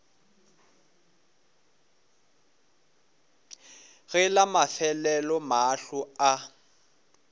ge la mafelelo mahlo a